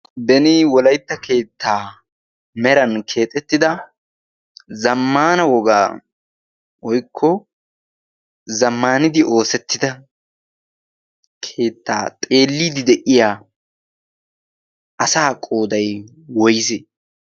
Beni wolaytta keettaa meran keexettida zammaana wogaa woykko zammaanidi oosettida keettaa xeelliiddi de'iya asaa qooday woysee?